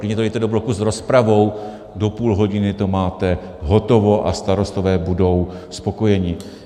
Klidně to dejte do bloku s rozpravou, do půl hodiny to máte hotovo a starostové budou spokojeni.